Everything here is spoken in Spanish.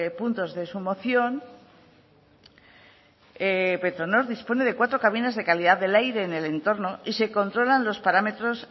puntos de su moción petronor dispone de cuatro cabinas de calidad del aire en el entorno y se controlan los parámetros